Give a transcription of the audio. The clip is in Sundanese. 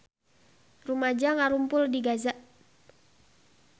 Rumaja ngarumpul di Gaza